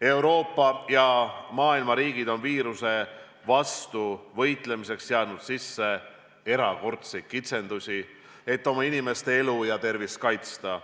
Euroopa ja muu maailma riigid on viiruse vastu võitlemiseks seadnud sisse erakordseid kitsendusi, et oma inimeste elu ja tervist kaitsta.